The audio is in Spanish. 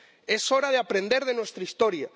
Es hora de aprender de nuestra historia.